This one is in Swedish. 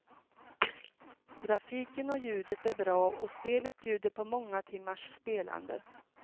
Grafiken och ljudet är bra och spelet bjuder på många timmars spelande.